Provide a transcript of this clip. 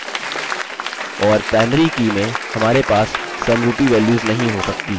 और primary की में हमारे पास समरूपी values नहीं हो सकती